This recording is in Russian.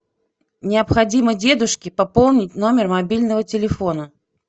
необходимо дедушке пополнить номер мобильного телефона